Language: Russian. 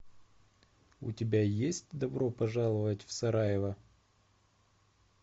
у тебя есть добро пожаловать в сараево